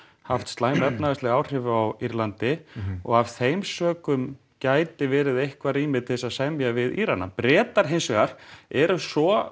haft slæm efnahagsleg áhrif á Írlandi og af þeim sökum gæti verið eitthvað rými til að semja við Írana Bretar hins vegar eru svo